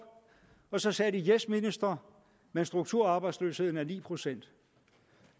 og så sagde de yes minister men strukturarbejdsløsheden er på ni procent